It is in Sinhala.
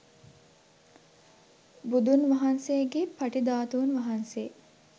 බුදුන් වහන්සේගේ පටි ධාතුන් වහන්සේ